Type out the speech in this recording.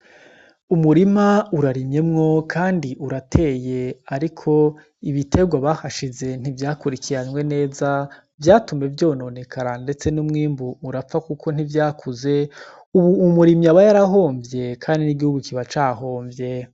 Umurima urarimyemwo kandi urateye ariko ibiterwa bahashize ntivyakurikiranwe neza. Vyatumye vyononekara ndetse n'umwimbu urapfa kuko ntivyakuze, ubu umurimyi aba yarahomvye kandi n'igihugu kiba cahomvye.